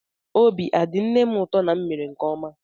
Obi adị nne m ụtọ na m mere nke ọma?